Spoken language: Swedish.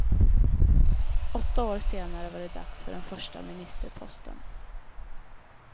Åtta år senare var det dags för den första ministerposten.